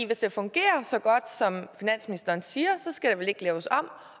hvis det fungerer så godt som finansministeren siger så skal det vel ikke laves om